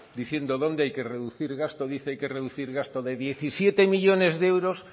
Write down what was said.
diciendo dónde hay que reducir gasto y dice que hay que reducir gasto de diecisiete millónes de euros